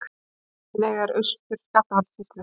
Þannig er um Austur-Skaftafellssýslu.